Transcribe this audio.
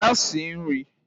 Gaa sie nrị!